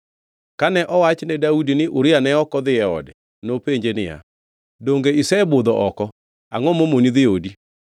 Kane owach ne Daudi ni Uria ne ok odhi ode, nopenje niya, “Donge isebudho oko, angʼo momoni dhi odi?”